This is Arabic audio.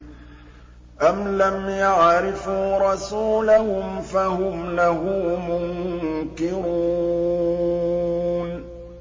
أَمْ لَمْ يَعْرِفُوا رَسُولَهُمْ فَهُمْ لَهُ مُنكِرُونَ